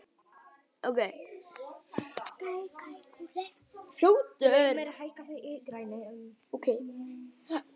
Draumey, hækkaðu í græjunum.